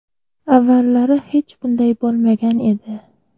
Avvallari hech bunday bo‘lmagan edi.